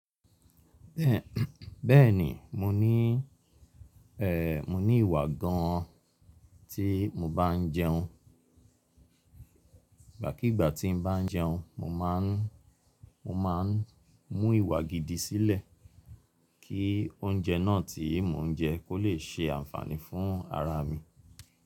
Bẹ́ẹ̀ni, mo ní ẹ́, mo ní ìwà gan an tí mo bá n jẹun. Ìgbàkígbà tí n bá n jẹun, mo má n, mo ma n mú ìwà gidi sílẹ̀, kí oúnjẹ náà tí mo n jẹ kó le ṣe ànfàní fún ara mi.